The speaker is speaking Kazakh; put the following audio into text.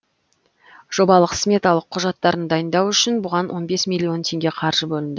жобалық сметалық құжаттарын дайындау үшін бұған он бес миллион теңге қаржы бөлінді